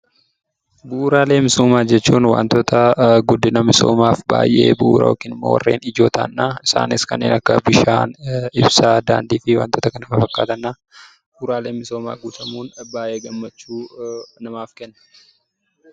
Bu'uraalee misoomaa jechuun wantoota guddina misoomaaf baay'ee bu'uura yookiin immoo warreen ijoo ta'ani dha. Isaanis kanneen akka Bishaan, Ibsaa, Daandii fi wantoota kana fafakkaatani dha. Bu'uraaleen misoomaa guutamuun baay'ee gammachuu namaaf kenna.